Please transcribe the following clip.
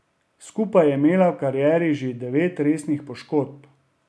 Skupaj je imela v karieri že devet resnih poškodb.